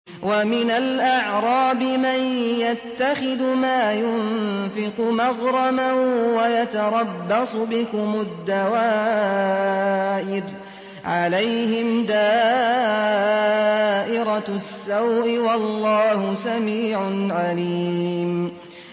وَمِنَ الْأَعْرَابِ مَن يَتَّخِذُ مَا يُنفِقُ مَغْرَمًا وَيَتَرَبَّصُ بِكُمُ الدَّوَائِرَ ۚ عَلَيْهِمْ دَائِرَةُ السَّوْءِ ۗ وَاللَّهُ سَمِيعٌ عَلِيمٌ